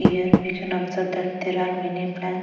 Here we can observe that there are many plants.